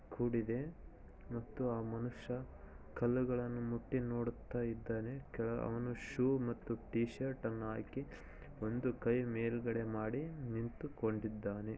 ಕೂಡಿದೆ ಮತ್ತು ಆ ಮನುಷ್ಯ ಕಲ್ಲುಗಳನ್ನು ಮುಟ್ಟಿ ನೋಡುತ್ತಾ ಇದ್ದಾನೆ ಕೆಳ ಅವನು ಶೂ ಮತ್ತು ಟಿ ಶರ್ಟ್ ಅನ್ನು ಹಾಕಿ ಒಂದು ಕೈ ಮೇಲ್ಗಡೆ ಮಾಡಿ ನಿಂತುಕೊಂಡಿದ್ದಾನೆ.